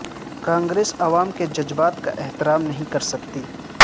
Congress عوام کے جذبات کا احترام نہیں کر سکتی